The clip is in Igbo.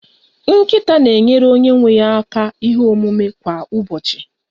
Nkịta na-enyere onye nwe ya aka ihe omume kwa ụbọchị